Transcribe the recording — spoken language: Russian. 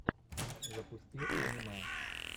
запусти аниме